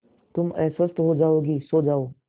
तुम अस्वस्थ हो जाओगी सो रहो